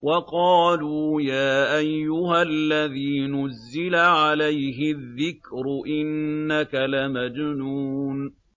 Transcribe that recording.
وَقَالُوا يَا أَيُّهَا الَّذِي نُزِّلَ عَلَيْهِ الذِّكْرُ إِنَّكَ لَمَجْنُونٌ